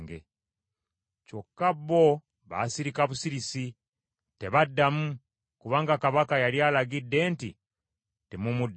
Kyokka bo baasirika busirisi tebaddamu, kubanga kabaka yali alagidde nti, “Temumuddamu.”